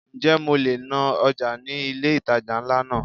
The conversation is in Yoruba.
Ǹjẹ́ mo le ná ọjà ní ilé ìtajà ńlá náà?